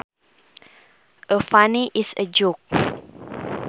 A funny is a joke